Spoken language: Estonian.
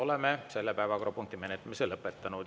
Oleme selle päevakorrapunkti menetlemise lõpetanud.